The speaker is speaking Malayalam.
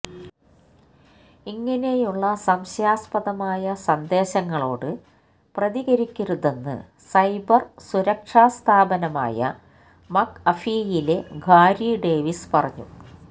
ഇങ്ങനെയുള്ള സംശയാസ്പദമായ സന്ദേശങ്ങളോട് പ്രതികരിക്കരുതെന്ന് സൈബര് സുരക്ഷാസ്ഥാപനമായ മക്അഫീയിലെ ഗാരി ഡേവിസ് പറഞ്ഞു